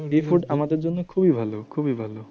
sea food আমাদের জন্য খুবই ভালো খুবই ভালো।